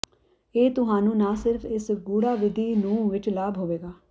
ਇਹ ਤੁਹਾਨੂੰ ਨਾ ਸਿਰਫ ਇਸ ਗੂੜ੍ਹਾ ਵਿਧੀ ਨੂੰ ਵਿੱਚ ਲਾਭ ਹੋਵੇਗਾ